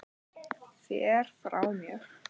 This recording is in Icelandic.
Fer frá mér.